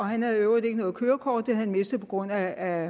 han havde i øvrigt ikke noget kørekort det havde han mistet på grund af